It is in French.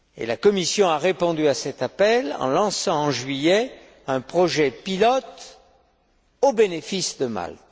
La Commission a répondu à cet appel en lançant, en juillet, un projet pilote au bénéfice de Malte.